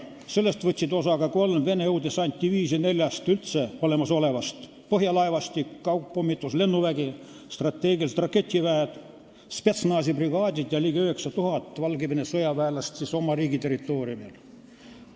Sellest võtsid osa ka kolm Venemaa õhudessantdiviisi neljast üldse olemasolevast, põhjalaevastik, kaugpommituslennuvägi, strateegilised raketiväed, spetsnaz'i brigaadid ja ligi 9000 Valgevene sõjaväelast oma riigi territooriumil.